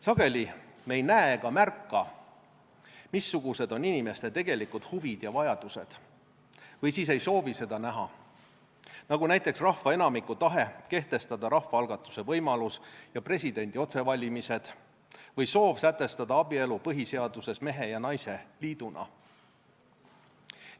Sageli me ei näe ega märka, missugused on inimeste tegelikud huvid ja vajadused – või siis ei soovi seda näha –, nagu näiteks rahva enamiku tahe kehtestada rahvaalgatuse võimalus ja presidendi otsevalimised või soov sätestada abielu põhiseaduses mehe ja naise liiduna.